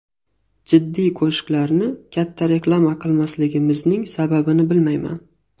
Jiddiy qo‘shiqlarni katta reklama qilmasligimizning sababini bilmayman.